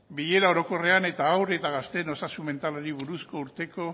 bilera orokorrean eta haur eta gazteen osasun mentalari buruzko urteko